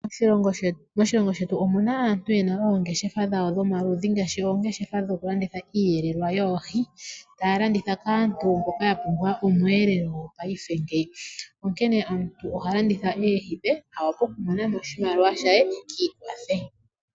Moshilongo omuna aantu yena oongeshefa dhayoolokathana ngaashi oongeshefa dhoku landitha iiyelelwa yoohi, taya landitha kaantu mboka yapumbwa omweelelo. Omuntu ohalanditha oohi a mone mo oshimaliwa a vule okwiikwatha.